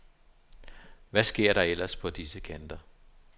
Hvad sker der ellers på disse kanter?